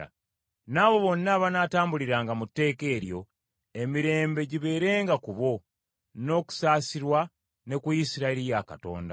N’abo bonna abanaatambuliranga mu tteeka eryo, emirembe gibeerenga ku bo, n’okusaasirwa, ne ku Isirayiri ya Katonda.